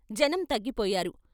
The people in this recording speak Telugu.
జనం తగ్గిపోయారు.